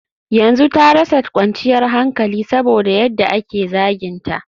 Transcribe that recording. yanzu ta rasa kwanciyar hankali saboda yadda ake zaginta